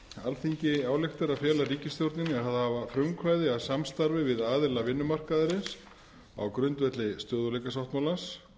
alþingi ályktar að fela ríkisstjórninni að hafa frumkvæði að samstarfi við aðila vinnumarkaðarins á grundvelli stöðugleikasáttmálans